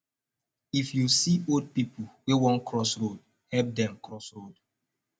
if you see old pipo wey won cross road help dem cross road